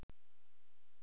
Hvaða stöðu spilaðirðu?